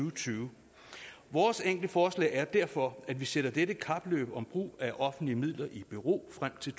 og tyve vores enkle forslag er derfor at vi sætter dette kapløb om brug af offentlige midler i bero frem til